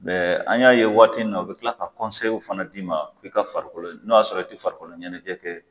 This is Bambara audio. Mɛ an y'a ye waati in na u bɛ tila ka fana d'i ma u ka farikolo ɲɛnɛjɛ n' a y'a sɔrɔ i tɛ farikolo ɲɛnajɛ kɛ.